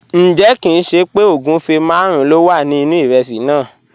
Njẹ̀, kìn ṣé pẹ́ ogunfẹ́ màrùn ló wà ní inu ìrèsí náà?